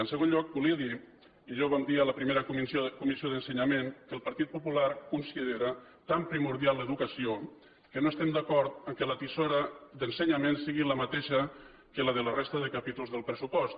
en segon lloc volia dir i ja ho vam dir a la primera comissió d’ensenyament que el partit popular considera tan primordial l’educació que no estem d’acord que la tisora d’ensenyament sigui la mateixa que la de la resta de capítols del pressupost